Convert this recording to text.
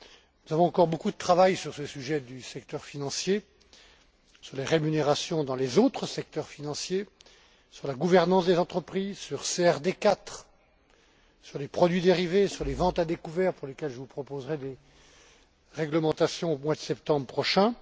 Nous avons encore beaucoup de travail sur ce sujet du secteur financier, sur les rémunérations dans les autres secteurs financiers, sur la gouvernance des entreprises, sur CRD 4, sur les produits dérivés, sur les ventes à découvert, pour lesquelles je vous proposerai des réglementations au mois de septembre prochain.